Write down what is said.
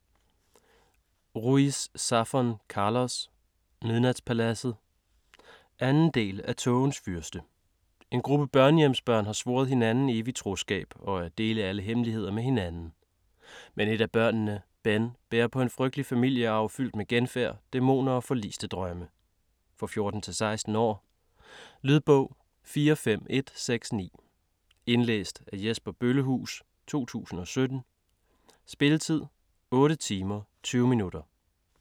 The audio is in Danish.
Ruiz Zafón, Carlos: Midnatspaladset 2. del af Tågens fyrste. En gruppe børnehjemsbørn har svoret hinanden evig troskab og at dele alle hemmeligheder med hinanden. Men et af børnene, Ben, bærer på en frygtelig familiearv fyldt med genfærd, dæmoner og forliste drømme. For 14-16 år. Lydbog 45169 Indlæst af Jesper Bøllehuus, 2017. Spilletid: 8 timer, 20 minutter.